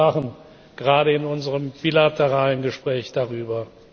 wir sprachen gerade in unserem bilateralen Gespräch darüber.